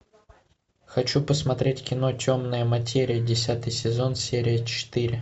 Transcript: хочу посмотреть кино темная материя десятый сезон серия четыре